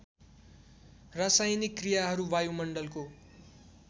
रासायनिक क्रियाहरू वायुमण्डलको